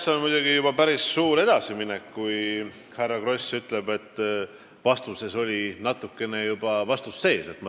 See on muidugi juba päris suur edasiminek, kui härra Kross ütleb, et vastuses oli natukene juba vastust sees.